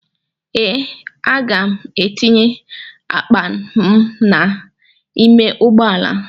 Ee, aga m etinye akpa m n'ime ụgbọala.